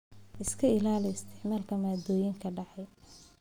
Iska ilaali isticmaalka maaddooyinka dhacay.